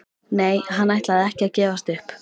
Nei, hann ætlaði ekki að gefast upp.